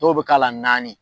To bɛ k'a la naani.